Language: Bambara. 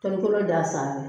Tɔli kolon d'a sanfɛ